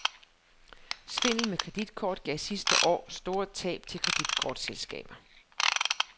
Svindel med kreditkort gav sidste år store tab til kreditkortselskaber.